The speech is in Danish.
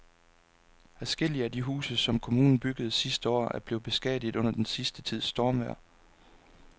Adskillige af de huse, som kommunen byggede sidste år, er blevet beskadiget under den sidste tids stormvejr.